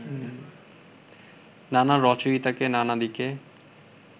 নানা রচয়িতা নানা দিকে